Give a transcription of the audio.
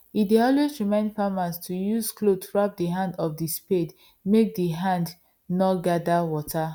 he dey always remind farmers to use cloth wrap the hand of the spade make d hand nor gather water